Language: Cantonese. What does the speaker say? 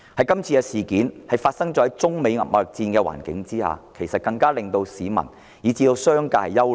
今次事件在中美貿易戰的環境下發生，更令市民及商界憂慮。